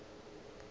a se tsebe gore a